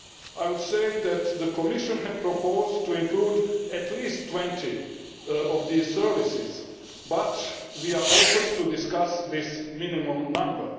I would say that the Commission has proposed to include at least 20 of these services, but we are open to discussing this minimum number.